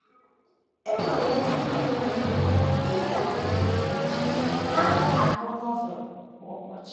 E nwere ezi ihe mere ị ga - eji na - agụ Novel kwa ụbọchị.